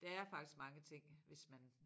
Der er faktisk mange ting hvis man